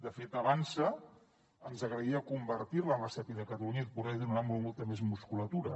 de fet avançsa ens agradaria convertir la en la sepi de catalunya i poder li donar molta més musculatura